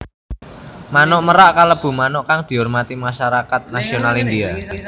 Manuk merak kalebu manuk kang diurmati masarakat nasional India